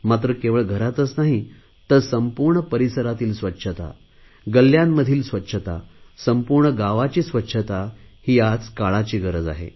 मात्र केवळ घरातच नाही तर संपूर्ण परिसरातील स्वच्छता गल्ल्यांमधील स्वच्छता संपूर्ण गावाची स्वच्छता ही आजच्या काळाची गरज आहे